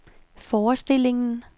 forestillingen